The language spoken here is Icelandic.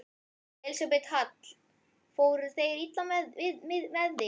Elísabet Hall: Fóru þeir illa með þig?